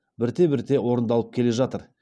бірте бірте орындалып келе жатыр